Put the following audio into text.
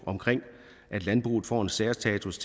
omkring at landbruget får en særstatus